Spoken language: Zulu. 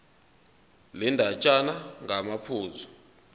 le ndatshana ngamaphuzu